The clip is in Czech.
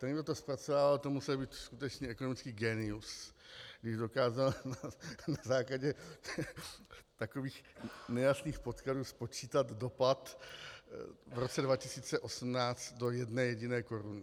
Ten, kdo to zpracovával, to musel být skutečně ekonomický génius , když dokázal na základě takových nejasných podkladů spočítat dopad v roce 2018 do jedné jediné koruny.